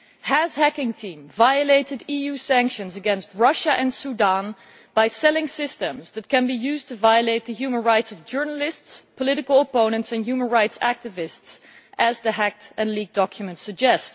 Has Hacking Team violated EU sanctions against Russia and Sudan by selling systems that can be used to violate the human rights of journalists, political opponents and human rights activists, as the hacked and leaked documents suggest?